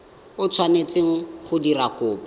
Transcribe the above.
o tshwanetseng go dira kopo